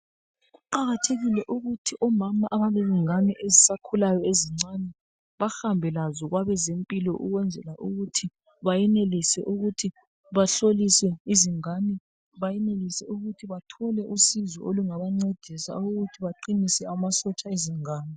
Kuqakathekile ukuthi omama abalengane ezisakhulayo ezincane, bahambe lazo kwabezempilo ukwenzela ukuthi bayenelise ukuthi bahlolise izingane. Bayenelise ukuthi bathole usizo olungabancedisa ukuthi baqinise amasotsha ezingane.